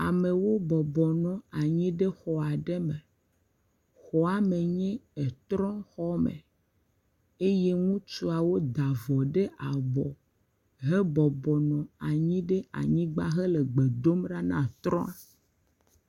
Amewo bɔbɔnɔ anyi ɖe xɔ aɖe me. Xɔ hã me nyo eto ɖom xɔ me. Eye ŋutsuawo da avɔ ɖe abɔ hebɔbɔnɔ anyi ɖe anyigba heke gbe dom ɖa na trɔ.